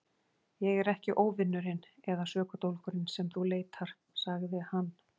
Ég er ekki óvinurinn eða sökudólgurinn sem þú leitar, sagði hann.